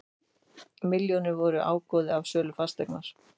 Milljónirnar voru ágóði af sölu fasteignar